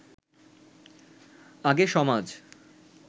আগে সমাজ